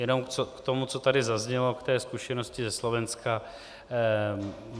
Jenom k tomu, co tady zaznělo, k té zkušenosti ze Slovenska.